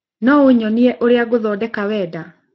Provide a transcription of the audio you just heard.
nyonie ũrĩa ngũthondeka wendi